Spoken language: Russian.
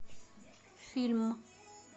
фильм